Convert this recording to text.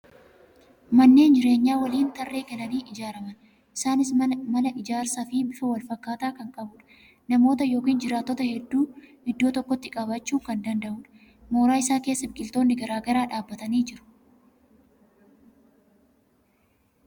Manneen jireenyaa waliinii tarree galanii ijaaraman. Isaanis mala ijaarsa fi bifa wal fakkaataa kan qabuudha. Namoota yookan jiraattota hedduu iddoo tokkotti qabachuu kan danda'uudha. Moora isaa keessa biqiltoonni garagaraa dhaabbatanii jiru.